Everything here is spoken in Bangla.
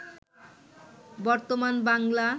বর্তমান বাংলা